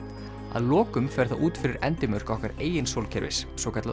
að lokum fer það út fyrir endimörk okkar eigin sólkerfis svokallað